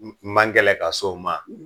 N man gɛlɛn ka s' o ma.